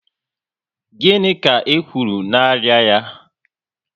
Gịnị ka e kwuru na arịa ya?